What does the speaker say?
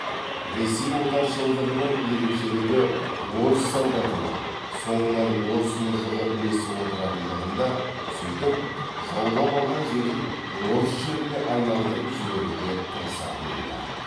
ресей отаршылдығының ерекшелігі орыс солдатының соңынан орыс мұжығы ілесіп отыратындығында сөйтіп жаулап алған жерін орыс жеріне айналдырып жіберуге тырысатынында